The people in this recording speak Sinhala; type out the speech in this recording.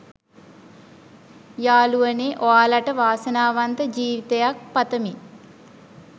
යාළුවනේ ඔයාලට වාසනාවන්ත ජීවිතයක් පතමි